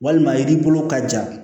Walima yiri bolo ka ja